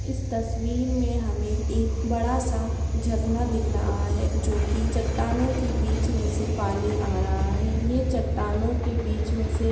इस तस्वीर में हमे एक बड़ा सा झरना दिख रहा है जोकि चटानो के बिच में से पानी आरहा है ये चटानो के बिच में से